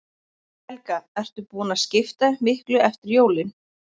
Helga: Ert þú búin að skipta miklu eftir jólin?